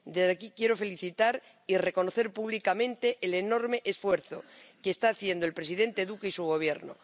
Desde aquí quiero felicitar y reconocer públicamente el enorme esfuerzo que están haciendo el presidente Duque y su Gobierno.